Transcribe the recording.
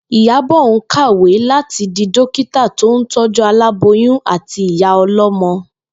Ìyábò̩ ń kàwé láti di dókítà tó ń tó̩jú aláboyún àti ìyá o̩ló̩mo̩